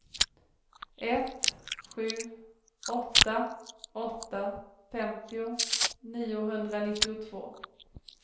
ett sju åtta åtta femtio niohundranittiotvå